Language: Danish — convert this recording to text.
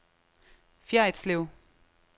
Fjerritslev